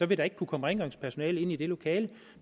vil der ikke kunne komme rengøringspersonale ind i det lokale